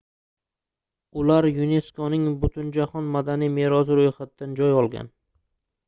ular yuneskoning butunjahon madaniy merosi roʻyxatidan joy olgan